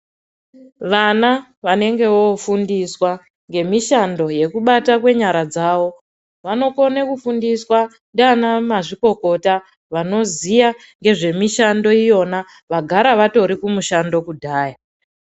Vana vanenge vofundiswa ngemishando yekubata kwenyara dzavo, vanokone kufundiswa ndiana mazvikokota vanoziya ngezvemishando iyona vagara vatori kumushando kudhaya.